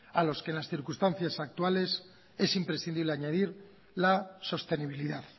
a los que en las circunstancias actuales es imprescindible añadir la sostenibilidad